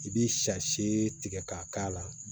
I bɛ sase tigɛ k'a k'a la